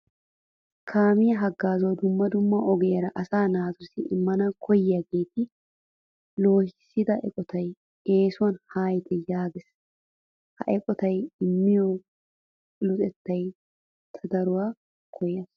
Kaamiya haggaazuwa dumma dumma ogiyara asaa naatussi immana koyyiyaageeta loohissiya eqotay eesuwan haayite yaages. Ha eqotay immiyo luxettaa ta daro koyyayiis.